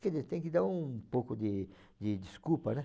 Quer dizer, tem que dar um pouco de de desculpa, né?